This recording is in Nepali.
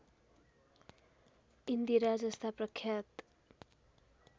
इन्दिरा जस्ता प्रख्यात